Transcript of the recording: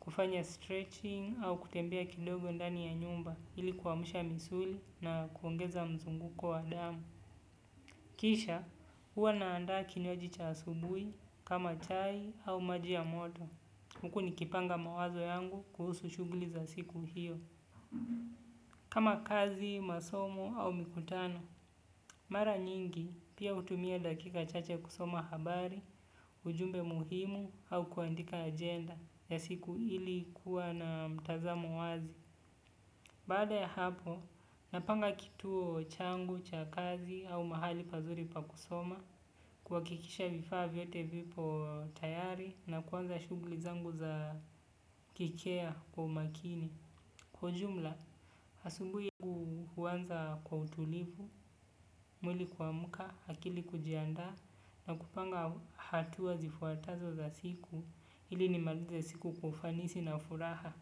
kufanya stretching au kutembea kidogo ndani ya nyumba ilikuwamusha misuli na kuongeza mzunguko wa damu. Kisha, huwa naandaa kinywaji cha asubui kama chai au majia ya moto. Huku nikipanga mawazo yangu kuhusu shuguli za siku hiyo. Kama kazi, masomo au mikutano. Mara nyingi, pia utumia dakika chache kusoma habari, ujumbe muhimu au kuandika agenda ya siku ilikuwa na mtazamo wazi. Bada ya hapo, napanga kituo changu, chakazi au mahali pazuri pakusoma, kwa kikisha vifaa vyote vipo tayari na kuanza shugli zangu za kikea kwa makini. Kwa ujumla, asubuhi huanza kwa utulivu, mwili kuamka, akili kujiandaa na kupanga hatua zifuatazo za siku, ili nimalize siku kwa ufanisi na furaha.